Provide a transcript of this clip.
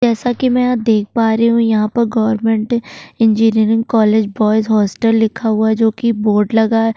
जैसा कि मैं यहाँ देख पा रही हूँ यहाँ पर government engineering college boys hostel लिखा हुआ है जोकि बोर्ड लगा हैं।